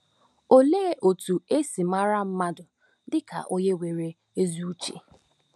Olee otú e si mara mmadụ dị ka onye nwere ezi uche?